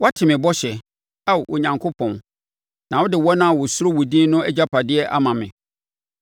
Woate me bɔhyɛ, Ao Onyankopɔn; na wode wɔn a wɔsuro wo din no agyapadeɛ ama me.